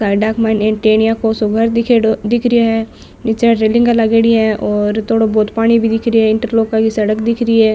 साईड़ा के मा टेणिया को सो घर दीखेड़ो दिखरो है और जीचे रेलिंगा लागेड़ी है और थोड़ो भोत पानी भी दिखरो है इंटरलोका की सड़क दिखरी है।